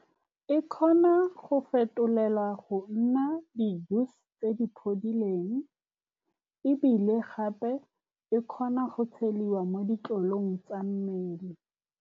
E kgona go fetolela go nna tse di phodileng, ebile gape e kgona go tshediwa mo ditlolong tsa mmele.